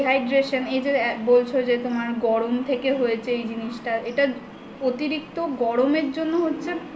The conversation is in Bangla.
dehydration এই যে বলছ যে তোমার গরম থেকে হয়েছে এই জিনিসটা এটা অতিরিক্ত গরমের জন্য হচ্ছে